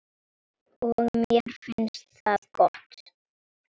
Og mér finnst það gott.